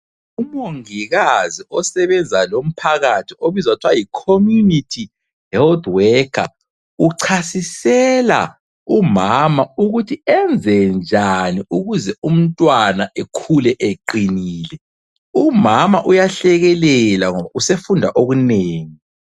Umongikazi osebenza lomphakathi obizwa kuthiwa yi "Community Health Worker" uchasisela umama ukuthi enze njani ukuze umntwana ekhule eqinile. Umama uyahlekelela ngoba usefunda okunengi.